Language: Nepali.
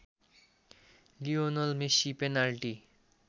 लियोनल मेसीले पेनाल्टी